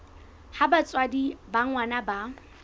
ha batswadi ba ngwana ba